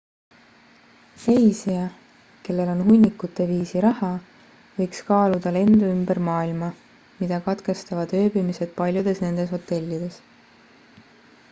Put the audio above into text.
reisija kellel on hunnikute viisi raha võiks kaaluda lendu ümber maailma mida katkestavad ööbimised paljudes nendes hotellides